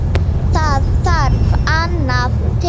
Það þarf annað til.